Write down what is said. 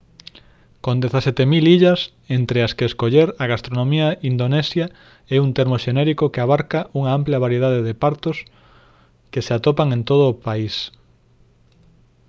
con 17 000 illas entre as que escoller a gastronomía indonesia é un termo xenérico que abarca unha ampla variedade de partos que se atopan en todo o país